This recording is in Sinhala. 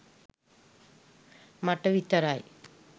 මට විතරයි